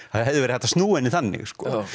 það hefði verið hægt að snúa henni þannig